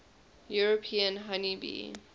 european honey bee